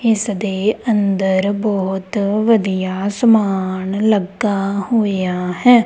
ਇੱਸ ਦੇ ਅੰਦਰ ਬੋਹੁਤ ਵਧੀਆ ਸਮਾਨ ਲੱਗਾ ਹੋਏ ਆ ਹੈ।